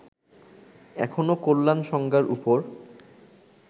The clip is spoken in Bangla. এখনও কল্যাণ সংজ্ঞার উপর